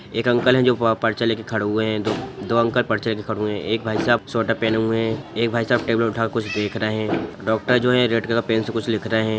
एक अंकल है जो पर्चा लेकर खड़े हुए है दो अंकल पर्चा ले कर खड़े हुए हैं एक भाई साहब स्वेटर पहने हुए है एक भाई साहब टेबल उठा कर कुछ देख रहे है डॉक्टर जो है रेड कलर से पेन से कुछ लिख रहे है।